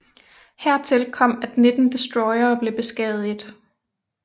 Hertil kom at 19 destroyere blev beskadiget